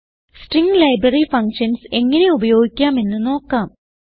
string library functions എങ്ങനെ ഉപയോഗിക്കാമെന്ന് നോക്കാം